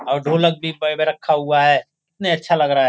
और ढोलक भी बैग रखा हुआ है कितना अच्छा लग रहा --